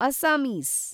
Assamese